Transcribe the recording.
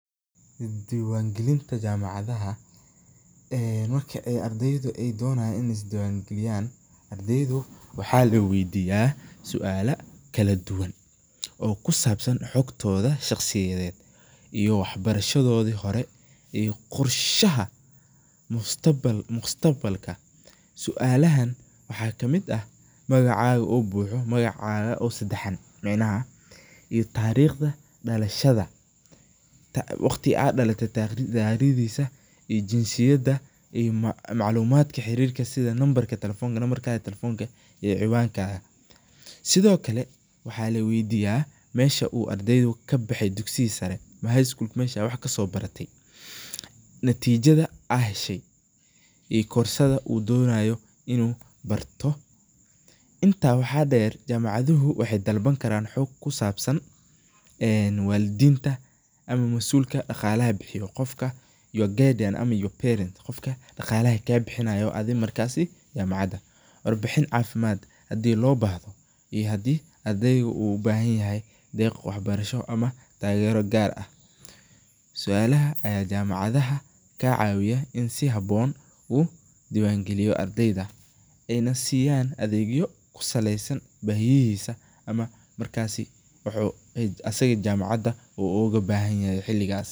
Is diwaan gelinta jamacadaha, marka ay ardeyda ay donayan inay is diwaan geliyan ardeydu waxaa laweydiya suala kala duban oo kusabsan xogtooda shaqsiyed iyo wax barashadoodi hore iyo qorshaha mustaqbalka sualahan waxa kamid ah magacaga oo buxo magacaga oo sedexan macnaha iyo taariqda dhalashada, waqtiga ad dhalate taariqdiisa iyo jinsiyada iyo maclumaadka xaarirka sida nambarka talefoonka iyo ciwankaga, sidokale waxa laweydiya mesha uu ardeygu kabexe dugsiga sare ama high-school mesha wax kasobarate, natiijada a heshay iyo korsada uu doonayo inu barto, intaa waxaa dheer jamacaduhu waxay dalban laran xug kusabsan en walidinta ama mas'ulka dhaqalaha bixiyo, qofka your guardian or your parent qofka dhaqalaha kaabixinayo ee jamacada, War bixin caafimad hadii loo bahdo iyo hadii u ardeyga ubahan yahay deq wax barasho ama taagero gaar ah, sualaha aya jamacadaha kaa caawiya in si haboon u diwan geliyo ardeyda en siyaan adeegyo kusaleysan bahiyihisa ama markaasi jamacada u asaga oga bahan yahay xiligasas